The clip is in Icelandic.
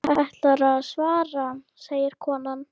Ætlarðu að svara, segir konan.